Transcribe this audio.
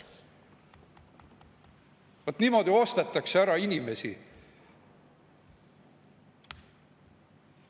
Vaat niimoodi ostetakse ära inimesi.